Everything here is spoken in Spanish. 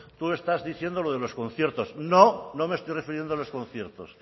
tú estás diciendo lo de los conciertos no no me estoy refiriendo a los conciertos